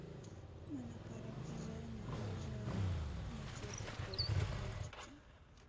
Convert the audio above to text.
мы на парах дизайна вырежаем макеты под мультики